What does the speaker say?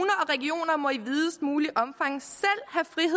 og regioner må i videst muligt omfang at